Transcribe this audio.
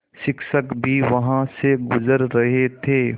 शिक्षक भी वहाँ से गुज़र रहे थे